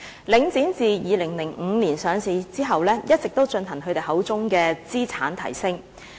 領展自2005年上市後，一直也進行其口中的"資產提升"。